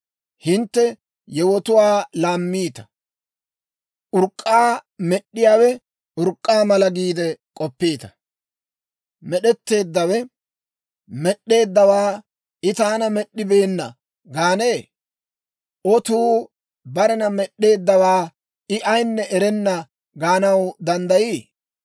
Hintte yewotuwaa laamiitta; urk'k'aa med'd'iyaawe urk'k'aa mala giide k'oppiita! Med'etteeddawe med'd'eeddawaa, «I taana med'd'ibeenna» gaanee? Otuu barena med'd'eeddawaa, «I ayinne erenna» gaanaw danddayii?